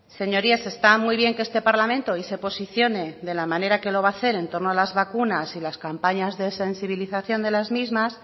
señorías está muy bien que este parlamento hoy se posicione de la manera que lo va a hacer entorno a las vacunas y las campañas de sensibilización de las mismas